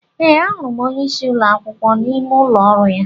Ee, a hụrụ m onyeisi ụlọ akwụkwọ n'ime ụlọ ọrụ ya